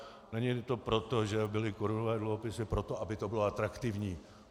Není to tak, že byly korunové dluhopisy proto, aby to bylo atraktivní.